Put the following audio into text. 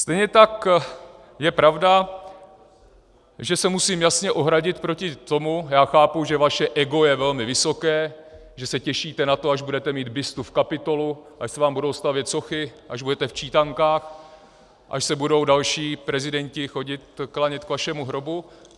Stejně tak je pravda, že se musím jasně ohradit proti tomu - já chápu, že vaše ego je velmi vysoké, že se těšíte na to, až budete mít bustu v Kapitolu, až se vám budou stavět sochy, až budete v čítankách, až se budou další prezidenti chodit klanět k vašemu hrobu.